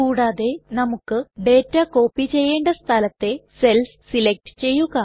കൂടാതെ നമുക്ക് data copy ചെയ്യേണ്ട സ്ഥലത്തെ സെൽസ് സെലക്ട് ചെയ്യുക